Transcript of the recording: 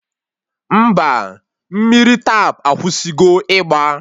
Mba, mmiri Tap akwụsịgo ịgba